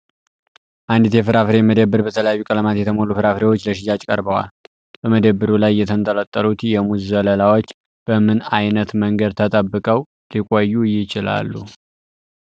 አንዲት የፍራፍሬ መደብር በተለያዩ ቀለማት የተሞሉ ፍራፍሬዎች ለሽያጭ ቀርበዋል። በመደብሩ ላይ የተንጠለጠሉት የሙዝ ዘለላዎች በምን ዓይነት መንገድ ተጠብቀው ሊቆዩ ይችላሉ?